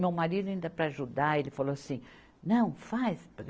Meu marido ainda para ajudar, ele falou assim, não, faz.